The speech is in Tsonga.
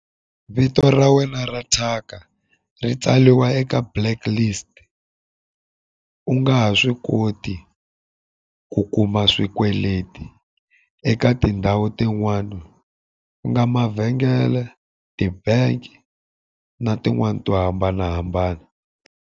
Vito ra wena ra thyaka, ri tsariwa eka blacklist. U nga ha swi koti ku kuma swikweleti eka tindhawu tin'wana, ku nga mavhengele, ti-bank na tin'wani to hambanahambana.